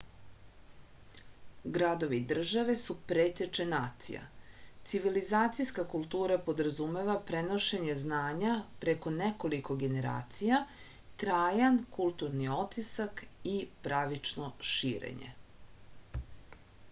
gradovi-države su preteče nacija civilizacijska kultura podrazumeva prenošenje znanja preko nekoliko generacija trajan kulturni otisak i pravično širenje